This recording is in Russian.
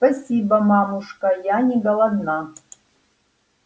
спасибо мамушка я не голодна